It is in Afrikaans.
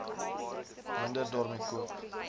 minder daarmee koop